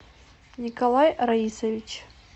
николай раисович